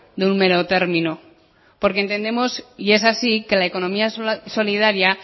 de un mero término porque entendemos y es así que la economía solidaria